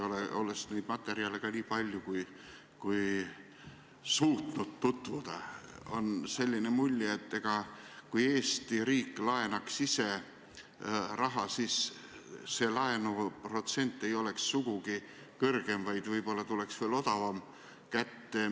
Olles nende materjalidega tutvunud, niipalju kui olen suutnud, on mulle jäänud selline mulje, et kui Eesti riik laenaks ise raha, siis poleks laenuprotsent sugugi kõrgem, vaid võib-olla tuleks laen veelgi odavamalt kätte.